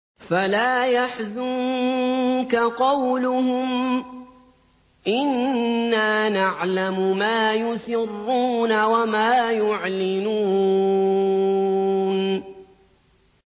فَلَا يَحْزُنكَ قَوْلُهُمْ ۘ إِنَّا نَعْلَمُ مَا يُسِرُّونَ وَمَا يُعْلِنُونَ